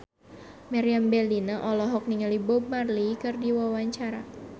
Meriam Bellina olohok ningali Bob Marley keur diwawancara